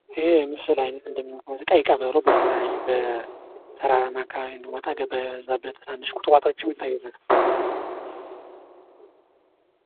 ይህ የምስል አይነት እንደሚይዘው ቀይ ቀበሮ በተለያየ በተራራማ አካባቢ እንዲሁም ወጣገባ በበዛበት ትናንሽ ቁጥቋጦም ይታይበታል።